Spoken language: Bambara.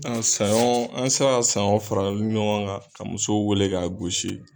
saɲɔn an mi se ka saɲɔn fara ɲɔgɔn kan ka musow wele k'a gosi.